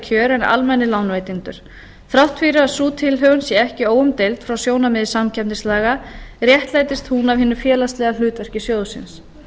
en almennir lánveitendur þrátt fyrir að sú tilhögun sé ekki óumdeild frá sjónarmiði samkeppnislaga réttlætist hún af hinu félagslega hlutverki sjóðsins